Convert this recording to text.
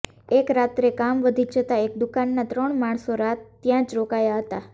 એક રાત્રે કામ વધી જતાં એ દુકાનના ત્રણ માણસો રાત ત્યાં જ રોકાયા હતા